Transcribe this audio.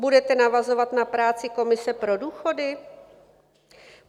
Budete navazovat na práci komise pro důchody?